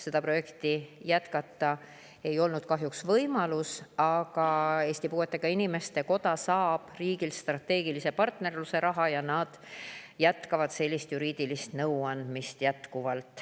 Seda projekti ei olnud kahjuks võimalik jätkata, aga Eesti Puuetega Inimeste Koda saab riigilt strateegilise partnerluse raha ja nad jätkavad juriidilise nõu andmist.